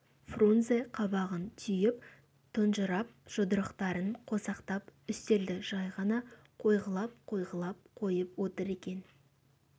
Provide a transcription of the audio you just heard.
фрунзе қабағын түйіп тұнжырап жұдырықтарын қосақтап үстелді жай ғана қойғылап-қойғылап қойып отыр екен